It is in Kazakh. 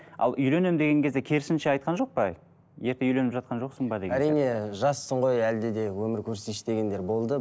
ал үйленем деген кезде керісінше айтқан жоқ па ерте үйленіп жатқан жоқсың ба әрине жассың ғой әлде де өмір көрсейші дегендер болды